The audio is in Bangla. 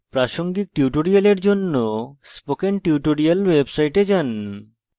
প্রাসঙ্গিক tutorials জন্য spoken tutorials website যান